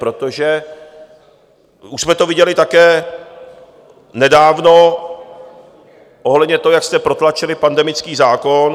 Protože už jsme to viděli také nedávno ohledně toho, jak jste protlačili pandemický zákon.